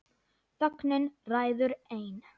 Þögnin ræður ein.